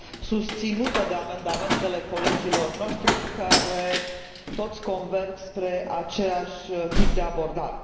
susținută de amendamentele colegilor noștri care toți converg spre același tip de abordare.